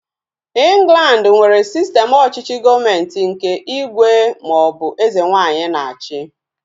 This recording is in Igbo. Ịnglandi nwere sistem ọchịchị gọọmenti nke ígwè ma ọ bụ eze nwaanyị na-achi